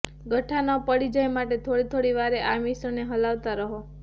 ગઠ્ઠા ન પડી જાય માટે થોડી થોડી વારે આ મિશ્રણને હલાવતા રહો